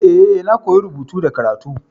E, na koyi rubutu da karatu.